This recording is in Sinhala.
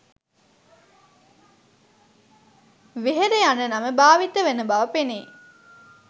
වෙහෙර යන නම භාවිත වන බව පෙනේ